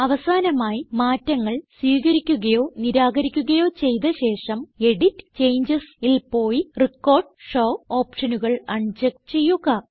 അവസാനമായി മാറ്റങ്ങൾ സ്വീകരിക്കുകയോ നിരാകരിക്കുകയോ ചെയ്ത ശേഷം എഡിറ്റ് ജിടിജിടി CHANGESൽ പോയി റെക്കോർഡ് ഷോ ഓപ്ഷനുകൾ അൺ ചെക്ക് ചെയ്യുക